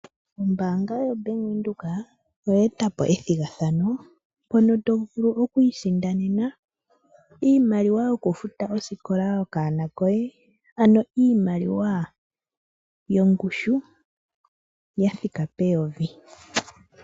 Ombaanga yobank windhoek oyetapo ethigathano, mpono tovulu okwii sindanena iimaliwa yokufuta osikola yokaana koye, ano iimaliwa yongushu yathika peyovi.